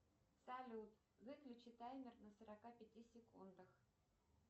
салют выключи таймер на сорока пяти секундах